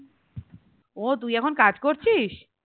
ও তুই এখন কাজ করছিস?